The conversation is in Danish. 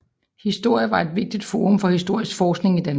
Historie var et vigtigt forum for historisk forskning i Danmark